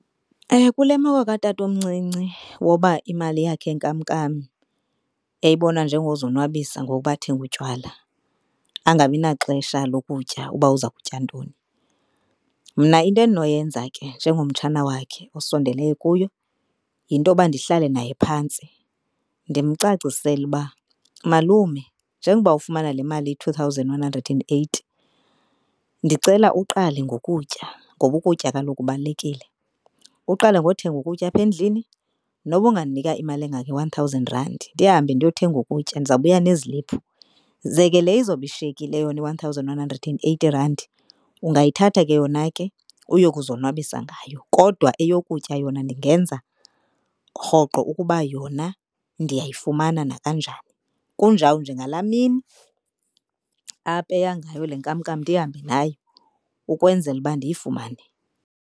Kule meko katatomncinci woba imali yakhe yenkamnkam eyibona njengozonwabisa ngokuba athenge utywala angabi naxesha lokutya uba uza kutya ntoni. Mna into endinoyenza ke njengomtshana wakhe osondeleyo kuye, yinto yoba ndihlale naye phantsi ndimcacisele uba, malume, njengoba ufumana le mali iyi-two thousand one hundred and eighty. Ndicela uqale ngokutya ngoba ukutya kaloku kubalulekile. Uqale ngokuthenga ukutya apha endlini, noba ungandinika imali engange one thousand rand ndihambe ndiyothenga ukutya ndizawubuya neziliphu. Ze ke le izobe ishiyekile yona i-one thousand one hundred and eighty rand ungayithatha ke yona ke uyokuzonwabisa ngayo. Kodwa eyokutya yona ndingenza rhoqo ukuba yona ndiyayifumana nakanjani. Kunjalonje ngala mini apeya ngayo le nkamnkam ndihambe naye ukwenzela uba ndiyifumane.